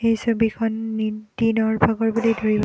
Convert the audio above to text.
এই ছবিখন দি দিনৰ ভাগৰ বুলি ধৰিব--